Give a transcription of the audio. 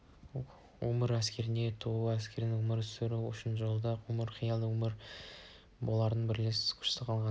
өмір әскердің туы әскери өмір сүру үшін осы жолда өмірін қияды олар бірлесе күш салғанда ғана